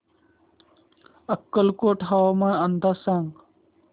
अक्कलकोट हवामान अंदाज सांग